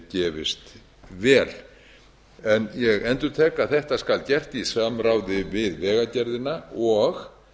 gefist vel ég endurtek að þetta skal gert í samráði við vegagerðina og